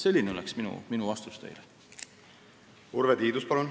Urve Tiidus, palun!